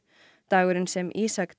dagurinn sem Ísak